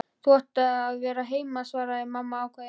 Þú átt að vera heima, svaraði mamma ákveðin.